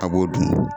A b'o dun